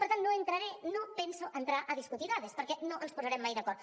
per tant no hi entraré no penso entrar a discutir dades perquè no ens posarem mai d’acord